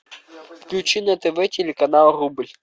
включи на тв телеканал рубль